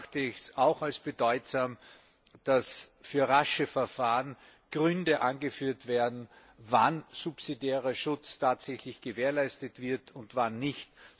Ich erachte es auch als bedeutsam, dass für rasche Verfahren Gründe angeführt werden, wann subsidiärer Schutz tatsächlich gewährleistet wird und wann nicht.